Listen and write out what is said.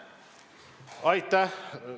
Aitäh!